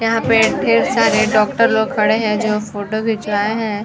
यहाँ पे ढेर सारे डॉक्टर लोग खड़े हैं जो फोटो खिंचवाए हैं।